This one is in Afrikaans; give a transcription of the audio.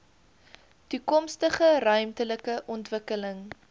toekomstige ruimtelike ontwikkeling